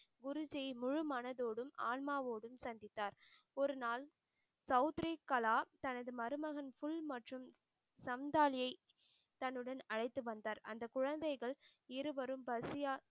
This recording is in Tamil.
குருஜி முழு மனதோடும் ஆன்மாவோடும் சந்தித்தார். ஒருநாள் சவுத்ரிகலா தனது மருமகன் புல் மற்றும் சம்தாலியை தன்னுடன் அழைத்து வந்தார் அந்த குழந்தைகள் இருவரும் பசியால்